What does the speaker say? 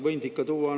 Aitäh!